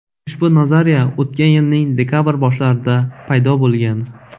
Ushbu nazariya o‘tgan yilning dekabr boshlarida paydo bo‘lgan.